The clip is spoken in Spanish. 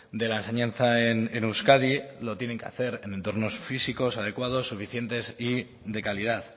de la enseñanza en euskadi lo tienen que hacer en entornos físicos adecuados suficientes y de calidad